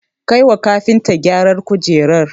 Kai wa kafinta gyaran kujerar